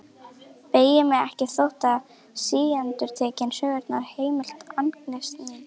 Beygi mig ekki þótt síendurtekinn söngurinn heimti angist mína.